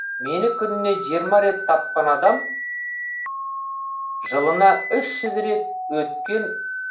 мені күніне жиырма рет тапқан адам жылына үш жүз рет өткен